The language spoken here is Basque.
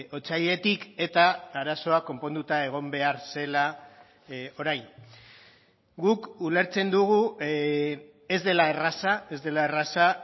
otsailetik eta arazoa konponduta egon behar zela orain guk ulertzen dugu ez dela erraza ez dela erraza